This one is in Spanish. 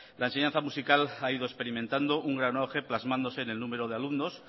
la enseñanza musical ha ido experimentando un gran auge plasmándose en el número de alumnos